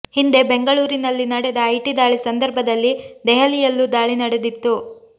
ಹಿಂದೆ ಬೆಂಗಳೂರಿನಲ್ಲಿ ನಡೆದ ಐಟಿ ದಾಳಿ ಸಂದರ್ಭದಲ್ಲಿ ದೆಹಲಿ ಯಲ್ಲೂ ದಾಳಿ ನಡೆದಿತ್ತು